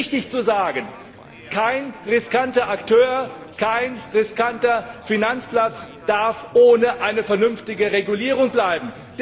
Es ist richtig zu sagen, kein riskanter Akteur, kein riskanter Finanzplatz darf ohne eine vernünftige Regulierung bleiben.